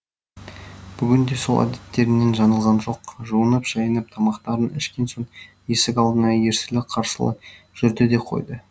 бүгін де сол әдеттерінен жаңылған жоқ жуынып шайынып тамақтарын ішкен соң есік алдында ерсілі қарсылы жүрді де қойды